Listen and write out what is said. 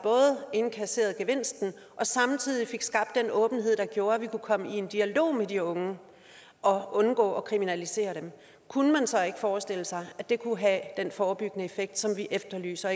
indkasserede gevinsten og samtidig fik skabt den åbenhed der gjorde at vi kunne komme i en dialog med de unge og undgå at kriminalisere dem kunne man så ikke forestille sig at det kunne have den forebyggende effekt som vi efterlyser